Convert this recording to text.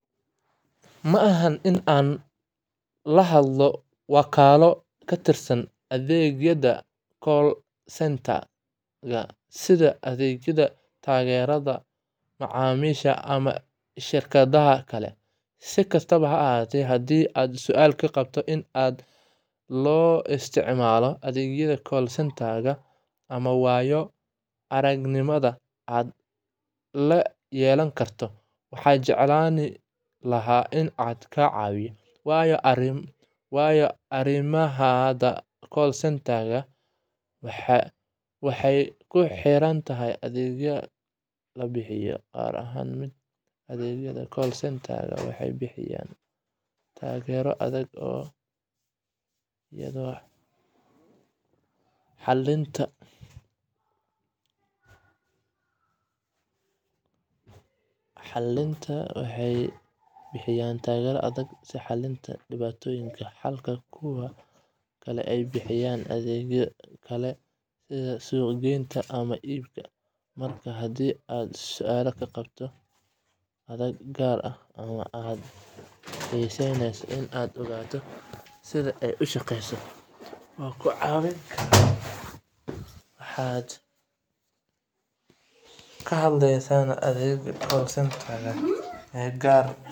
Ma aha inaan la hadlo wakool ka tirsan adeegyada call center-ka sida adeegyada taageerada macaamiisha ama shirkadaha kale. Si kastaba ha ahaatee, haddii aad su'aal ka qabto sida loo isticmaalo adeegyada call center-ka ama waayo-aragnimada aad la yeelan karto, waxaan jeclaan lahaa inaan ku caawiyo. Waayo-aragnimada call center-ka waxay ku xiran tahay adeegga la bixiyo. Qaar ka mid ah adeegyada call center-ka waxay bixiyaan taageero degdeg ah iyo xalinta dhibaatooyinka, halka kuwo kale ay bixiyaan adeegyo kale sida suuqgeynta ama iibka. Markaa, haddii aad su'aalo ka qabto adeeg gaar ah, ama aad xiiseyneyso inaad ogaato sida ay u shaqeyso, waan ku caawin karaa. Ma waxaad ka hadlayneysaa adeegga call center-ka ee gaar ah.